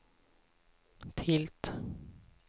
tilt